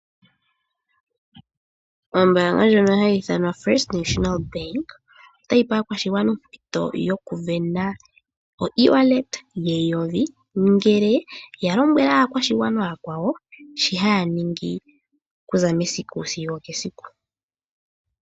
Ombaanga ndjono hayi ithanwa First National Bank, otayi pe aakwashigwana ompito yokusindana oEwallet yeN$1000, ngele yalombwele aakwashigwana ooyakwawo shohaya ningi okuza mesiku nesiku.